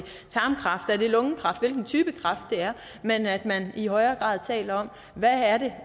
er lungekræft altså hvilken type kræft det er men at man i højere grad taler om hvad det